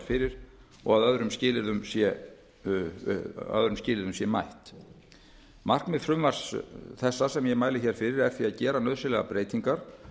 fyrir og að öðrum skilyrðum sé mætt markmið frumvarps þessa sem ég mæli hér fyrir er því að gera nauðsynlegar breytingar